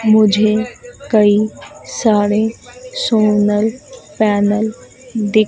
मुझे कई सारे सोनल पैनल दिख--